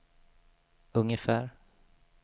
ungefär